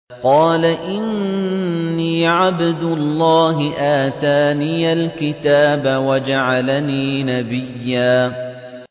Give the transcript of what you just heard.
قَالَ إِنِّي عَبْدُ اللَّهِ آتَانِيَ الْكِتَابَ وَجَعَلَنِي نَبِيًّا